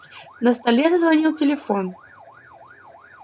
на столе зазвонил телефон